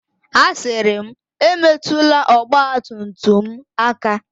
Asịrị m, Emetụla ọgba tum tum m aka!